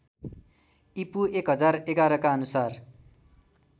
ईपू १०११ का अनुसार